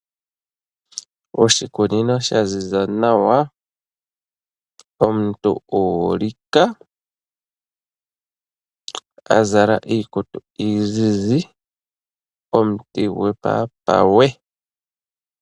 Oshikunino sha ziza nawa omuntu uulika a zla iikutu iizizi omuti gwomu papawe.